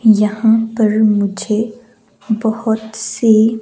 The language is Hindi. यहां पर मुझे बहुत सी--